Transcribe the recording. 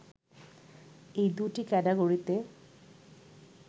এই দু’টি ক্যাটাগরিতে